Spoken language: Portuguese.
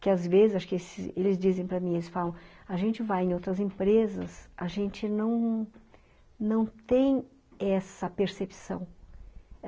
Que às vezes, acho que eles dizem para mim, eles falam, ''a gente vai em outras empresas, a gente não, não tem essa percepção.''